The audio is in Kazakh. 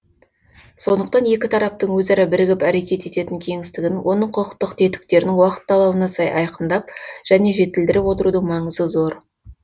сондықтан екі тараптың өзара бірігіп әрекет ететін кеңістігін оның құқықтық тетіктерін уақыт талабына сай айқындап және жетілдіріп отырудың маңызы зор